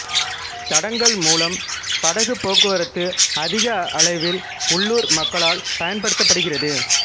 தடங்கள் மூலம் படகு போக்குவரத்து அதிக அளவில் உள்ளூர் மக்களால் பயன்படுத்தப்படுகிறது